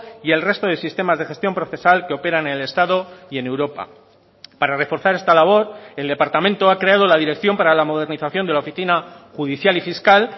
y el resto de sistemas de gestión procesal que operan en el estado y en europa para reforzar esta labor el departamento ha creado la dirección para la modernización de la oficina judicial y fiscal